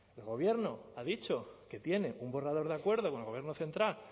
el gobierno ha dicho que tiene un borrador de acuerdo con el gobierno central